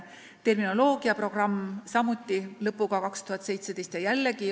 On eestikeelse terminoloogia programm, mis samuti lõppes aastal 2017.